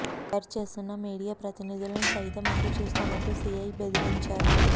cover చేస్తున్న media ప్రతినిధులను సైతం అంతు చూస్తామంటూ సీఐ బెదిరించారు